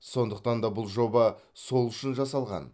сондықтан да бұл жоба сол үшін жасалған